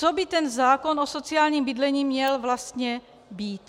Co by ten zákon o sociálním bydlení měl vlastně být?